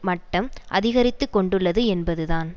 மட்டம் அதிகரித்துக்கொண்டுள்ளது என்பதுதான்